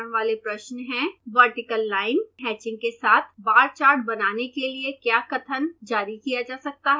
vertical line hatching के साथ bar chart बनाने के लिए क्या कथन जारी किया जा सकता है